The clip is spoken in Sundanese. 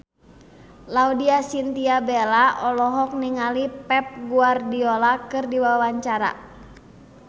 Laudya Chintya Bella olohok ningali Pep Guardiola keur diwawancara